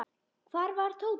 Hvar var Tóti?